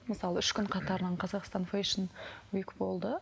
мысалы үш күн қатарынан қазақстан фэшн болды